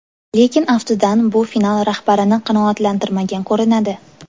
Lekin aftidan bu filial rahbarini qanoatlantirmagan ko‘rinadi.